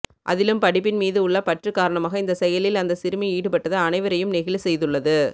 அதிலும் படிப்பின் மீது உள்ள பற்று காரணமாக இந்த செயலில் அந்த சிறுமி ஈடுபட்டது அனைவரையும் நெகிழ செய்துள்ளது